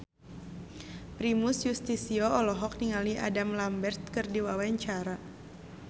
Primus Yustisio olohok ningali Adam Lambert keur diwawancara